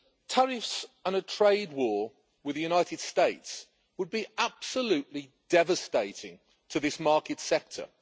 Tariffs and a trade war with the United States would be absolutely devastating to this market sector.